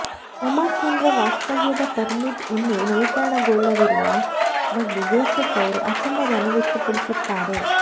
ಉಮಾಸೇನ್ರ ವಾಸ್ತವ್ಯದ ಪರ್ಮಿಟ್ ಇನ್ನೂ ನವೀಕರಣಗೊಳ್ಳದಿರುವ ಬಗ್ಗೆ ಜೋಸೆಪ್ ಅವರು ಅಸಮಾಧಾನ ವ್ಯಕ್ತಪಡಿಸುತ್ತಾರೆ